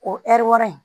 O ɛri wɔɔrɔ in